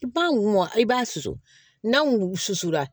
I b'a mun i b'a susu n'a wulu susura